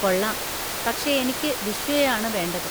കൊള്ളാം, പക്ഷെ എനിക്ക് ബിശ്വയെ ആണ് വേണ്ടത്.